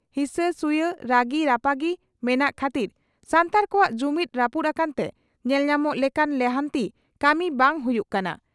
ᱦᱤᱥᱟᱹ ᱥᱩᱭᱟᱹᱜ ᱨᱟᱹᱜᱤ ᱨᱟᱯᱟᱜᱤ ᱢᱮᱱᱟᱜ ᱠᱷᱟᱹᱛᱤᱨ ᱥᱟᱱᱛᱟᱲ ᱠᱚᱣᱟᱜ ᱡᱩᱢᱤᱫᱽ ᱨᱟᱹᱯᱩᱫ ᱟᱠᱟᱱᱛᱮ ᱧᱮᱞ ᱧᱟᱢᱚᱜ ᱞᱮᱠᱟᱱ ᱞᱟᱦᱟᱱᱛᱤ ᱠᱟᱹᱢᱤ ᱵᱟᱝ ᱦᱩᱭᱩᱜ ᱠᱟᱱᱟ ᱾